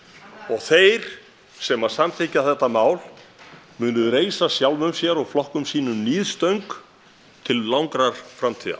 þeir sem samþykkja þetta mál munu reisa sjálfum sér og flokkum sínum níðstöng til langrar framtíðar